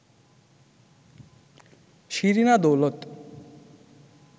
Shirina Daulat